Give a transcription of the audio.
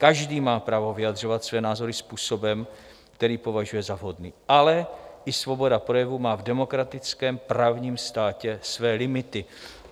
Každý má právo vyjadřovat své názory způsobem, který považuje za vhodný, ale i svoboda projevu má v demokratickém právním státě své limity.